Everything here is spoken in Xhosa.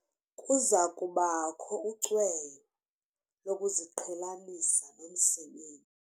Kuza kubakho ucweyo lokuziqhelanisa nomsebenzi.